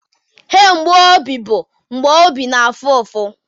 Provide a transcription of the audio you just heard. Ihe mgbu obi bụ mgbe obi na-afụ ụfụ.